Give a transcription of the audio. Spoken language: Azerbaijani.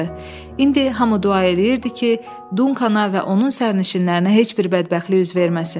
İndi hamı dua eləyirdi ki, Dunkanə və onun sərnişinlərinə heç bir bədbəxtlik üz verməsin.